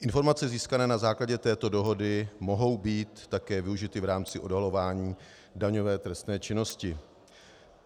Informace získané na základě této dohody mohou být také využity v rámci odhalování daňové trestné činnosti.